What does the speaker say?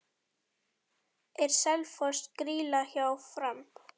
Er Selfoss grýla hjá Fram?